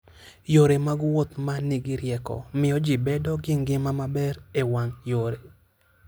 Yore mag wuoth ma nigi rieko, miyo ji bedo gi ngima maber e wang' yore.